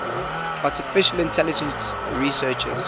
artificial intelligence researchers